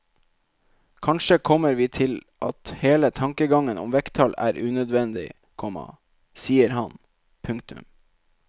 Kanskje kommer vi til at hele tankegangen om vekttall er unødvendig, komma sier han. punktum